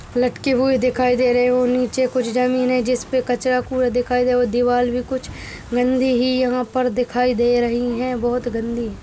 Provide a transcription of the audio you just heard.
लटके हुए दिखाई दे रहे और नीचे कुछ जमीन है जिसपे कचड़ा-कूड़ा दिखाई । दीवाल भी कुछ गंदी ही यहां पर दिखाई दे रही हैं बोहोत गंदी है।